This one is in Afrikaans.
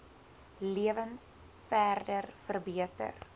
lewens verder verbeter